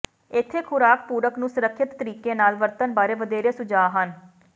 ਇੱਥੇ ਖੁਰਾਕ ਪੂਰਕ ਨੂੰ ਸੁਰੱਖਿਅਤ ਤਰੀਕੇ ਨਾਲ ਵਰਤਣ ਬਾਰੇ ਵਧੇਰੇ ਸੁਝਾਅ ਹਨ